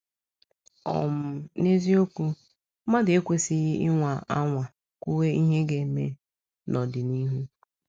um N’eziokwu, mmadụ ekwesịghị ịnwa anwa kwuwe ihe ga - eme n’ọdịnihu.